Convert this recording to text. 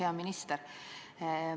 Hea minister!